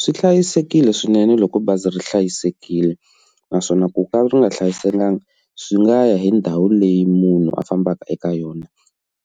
Swi hlayisekile swinene loko bazi ri hlayisekile naswona ku ka ri nga hlayisekanga swi nga ya hi ndhawu leyi munhu a fambaka eka yona